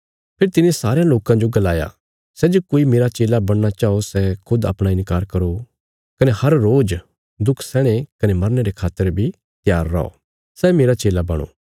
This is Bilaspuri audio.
फेरी तिने सारयां लोकां जो गलाया सै जे कोई मेरा चेला बणना चाओ सै खुद अपणा इन्कार करो कने हर रोज दुख सैहणे कने मरने रे खातर बी त्यार रौ सै मेरा चेला बणो